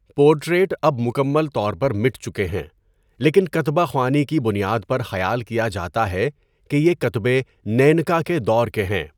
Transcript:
Portrait اب مکمل طور پر مٹ چکے ہیں لیکن کتبہ خوانی کی بنیاد پر خیال کیا جاتا ہے کہ یہ کتبے نیَنکا کے دور کے ہیں۔